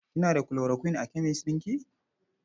Kina da chloroquine a kemes ɗin ki?